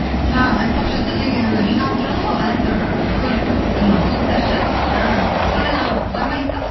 а айтпақшы сіз деген анау жиналып тұрады ғой әрбір көлік клубтар ше а сондайға бармайсыз ба